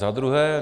Za druhé.